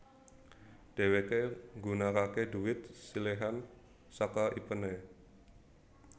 Dhéwéké nggunakaké dhuwit siléhan saka ipéné